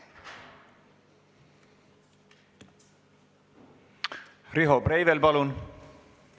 Riho Breivel, palun!